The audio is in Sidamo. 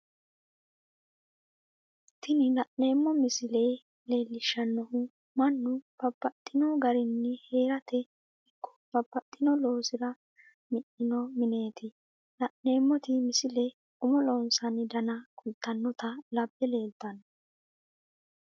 Tini la'neemo misile leellishanohu mannu babaxxino garinni heerate ikko babaxino loosira mi'ninno mineeti la'neemoti misile umo loosinnanni danna kulitanotta labe leelitanno